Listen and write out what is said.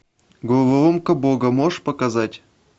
головоломка бога можешь показать